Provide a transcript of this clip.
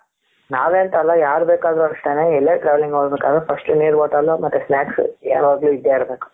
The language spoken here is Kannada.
ನಾವೇ ಅಂತ ಅಲ್ಲ ಯಾರು ಬೇಕಾದರೂ ಅಷ್ಟೇನೆ ಯೆಲ್ಲೆ travelling ಹೋಗ್ಬೇಕಾದ್ರೆ first ನೀರ್ bottle ಮತ್ತೆ snacks ಯಾವಾಗ್ಲೂ ಇದ್ದೇ ಇರಬೇಕು.